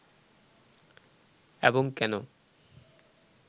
এবং কেন